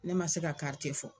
Ne ma se ka fɔ